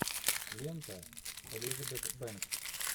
лента с элизабет бэнкс